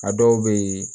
A dɔw bɛ yen